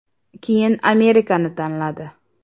Keyin Amerikani tanladi.